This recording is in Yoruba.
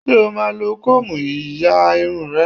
Ṣé o máa lo kóòmù ya irun rẹ?